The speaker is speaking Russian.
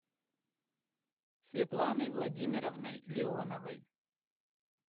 светланой владимировной леоновой